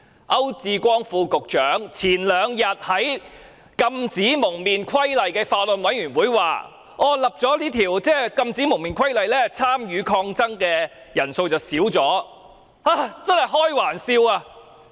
區志光副局長前兩天在《禁止蒙面規例》小組委員會會議上表示，在實施《禁止蒙面規例》後，參與抗爭的人數已有所減少，這實在是開玩笑。